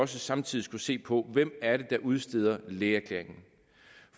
samtidig skulle se på hvem er der udsteder lægeerklæringen